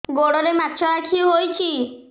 ଗୋଡ଼ରେ ମାଛଆଖି ହୋଇଛି